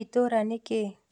Itũra nĩ kĩĩ?